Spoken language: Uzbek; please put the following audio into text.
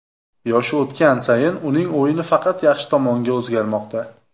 Yoshi o‘tgan sayin uning o‘yini faqat yaxshi tomonga o‘zgarmoqda.